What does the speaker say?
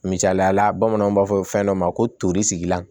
Misaliyala bamananw b'a fɔ fɛn dɔ ma ko tori la